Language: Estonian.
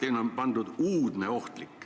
Eelnõus on öeldud lihtsalt "uudne ohtlik".